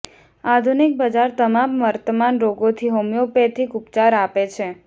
આધુનિક બજાર તમામ વર્તમાન રોગોથી હોમિયોપેથિક ઉપચાર આપે છે